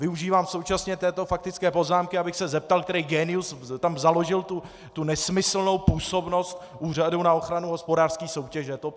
Využívám současně této faktické poznámky, abych se zeptal, který génius tam založil tu nesmyslnou působnost Úřadu na ochranu hospodářské soutěže.